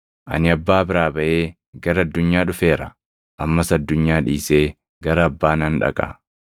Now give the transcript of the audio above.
Ani Abbaa biraa baʼee gara addunyaa dhufeera; ammas addunyaa dhiisee gara Abbaa nan dhaqa.”